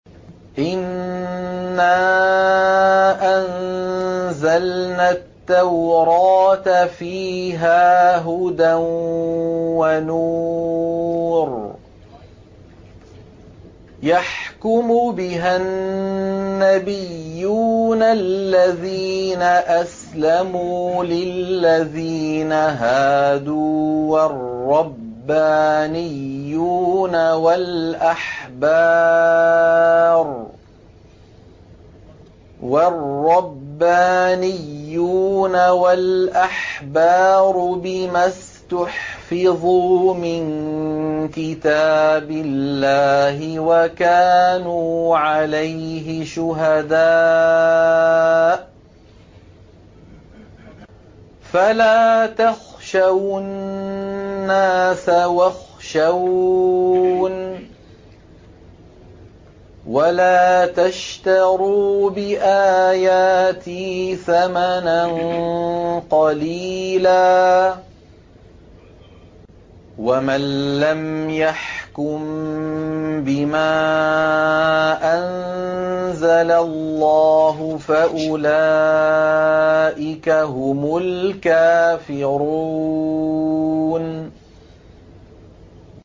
إِنَّا أَنزَلْنَا التَّوْرَاةَ فِيهَا هُدًى وَنُورٌ ۚ يَحْكُمُ بِهَا النَّبِيُّونَ الَّذِينَ أَسْلَمُوا لِلَّذِينَ هَادُوا وَالرَّبَّانِيُّونَ وَالْأَحْبَارُ بِمَا اسْتُحْفِظُوا مِن كِتَابِ اللَّهِ وَكَانُوا عَلَيْهِ شُهَدَاءَ ۚ فَلَا تَخْشَوُا النَّاسَ وَاخْشَوْنِ وَلَا تَشْتَرُوا بِآيَاتِي ثَمَنًا قَلِيلًا ۚ وَمَن لَّمْ يَحْكُم بِمَا أَنزَلَ اللَّهُ فَأُولَٰئِكَ هُمُ الْكَافِرُونَ